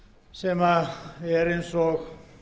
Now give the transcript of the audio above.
sem er eins og